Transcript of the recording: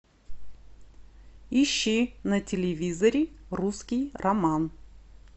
ищи на телевизоре русский роман